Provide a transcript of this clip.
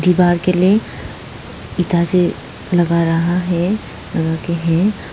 बाहर के लिए इधर से लगा रहा है लगाके है।